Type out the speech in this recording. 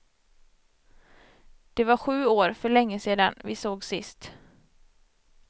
Det var sju år, för länge sedan, vi sågs sist.